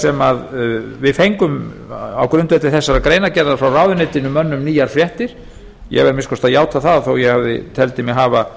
sem við fengum á grundvelli þessarar greinargerðar frá ráðuneytinu mönnum nýjar fréttir ég verð að minnsta kosti að játa það þó ég teldi mig hafa